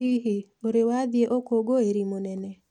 Hihi, ũrĩ wathiĩ ũkũngũĩri mũnene?